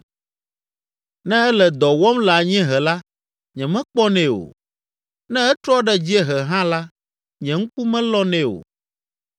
Ne ele dɔ wɔm le anyiehe la, nyemekpɔnɛ o, ne etrɔ ɖe dziehe hã la, nye ŋku melɔnɛ o.